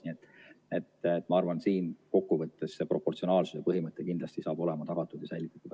Nii et ma arvan, et kokkuvõttes saab siin see proportsionaalsuse põhimõte kindlasti olema tagatud ja säilitatud.